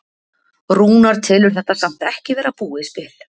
Rúnar telur þetta samt ekki verið búið spil.